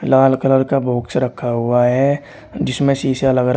लाल colour का box रखा हुआ है जिसमें शीशा लगा--